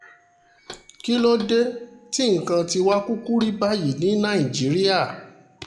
kí ló dé tí nǹkan tiwa kúkú rí báyìí ní nàìjíríà